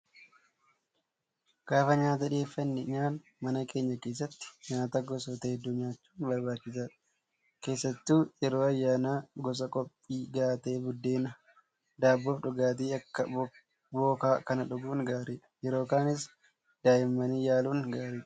Gaafa nyaata dhiyeeffannee nyaannu mana keenya keessatti nyaata gosoota hedduu nyaachuun barbaachisaadha. Keessattuu yeroo ayyaanaa qophii gahaa ta'e buddeena, daabboo fi dhugaatii akka bookaa kana dhuguun gaariidha. Yeroo kaanis danda'amnaan yaaluun gaariidha.